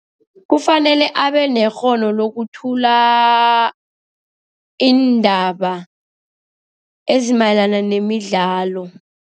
Kufanele abenekghono lokuthula iindaba ezimayelana nemidlalo.